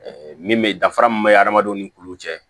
min bɛ danfara min bɛ hadamadenw ni kulu cɛ